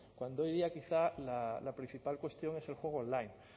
cuando hoy día quizá la principal cuestión es el juego online el